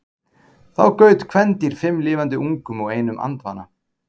þá gaut kvendýr fimm lifandi ungum og einum andvana